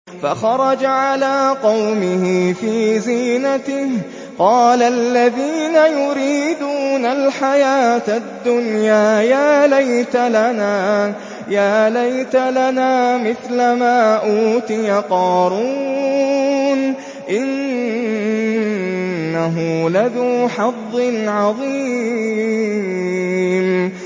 فَخَرَجَ عَلَىٰ قَوْمِهِ فِي زِينَتِهِ ۖ قَالَ الَّذِينَ يُرِيدُونَ الْحَيَاةَ الدُّنْيَا يَا لَيْتَ لَنَا مِثْلَ مَا أُوتِيَ قَارُونُ إِنَّهُ لَذُو حَظٍّ عَظِيمٍ